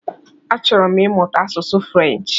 Achọrọ m imuta asụsụ Frenchi.